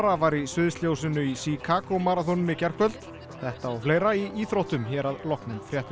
var í sviðsljósinu í Chicago í gærkvöld þetta og fleira í íþróttum hér að loknum fréttum